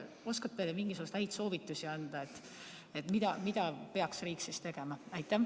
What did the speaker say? Oskate te mingisuguseid häid soovitusi anda, mida peaks riik siis tegema?